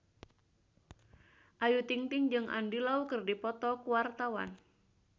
Ayu Ting-ting jeung Andy Lau keur dipoto ku wartawan